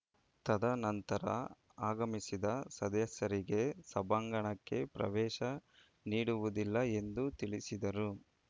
ತದ ನಂತರ ಆಗಮಿಸಿದ ಸದಸ್ಯರಿಗೆ ಸಭಾಂಗಣಕ್ಕೆ ಪ್ರವೇಶ ನೀಡುವುದಿಲ್ಲ ಎಂದು ತಿಳಿಸಿದರು